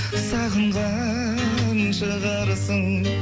сағынған шығарсың